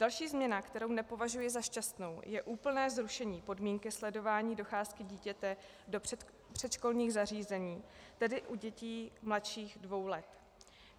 Další změna, kterou nepovažuji za šťastnou, je úplné zrušení podmínky sledování docházky dítěte do předškolních zařízení, tedy u dětí mladších dvou let.